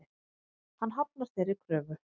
Hann hafnar þeirri kröfu.